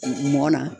Mɔnna